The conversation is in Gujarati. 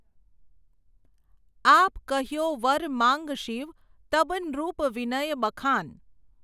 આપ કહ્યો વર માંગ શિવ, તબ નૃપ વિનય બખાન.